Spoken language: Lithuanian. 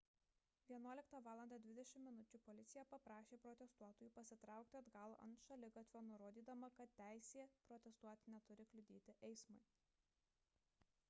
11:20 val policija paprašė protestuotojų pasitraukti atgal ant šaligatvio nurodydama kad teisė protestuoti neturi kliudyti eismui